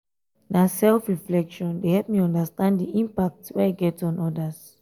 na self-reflection dey help me understand di impact wey i get on odas.